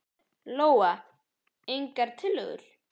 Lóa: Engar tillögur?